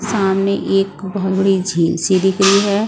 सामने एक बहुत बड़ी झील सी दिख रही है।